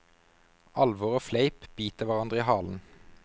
Alvor og fleip biter hverandre i halen.